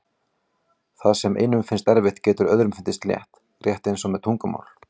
Það sem einum finnst erfitt getur öðrum fundist létt, rétt eins og með tungumál.